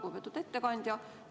Lugupeetud ettekandja!